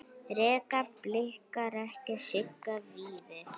Reka Blikar ekki Sigga Víðis?